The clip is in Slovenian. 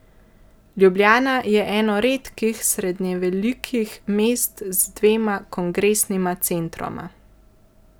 Ljubljana je eno redkih srednjevelikih mest z dvema kongresnima centroma.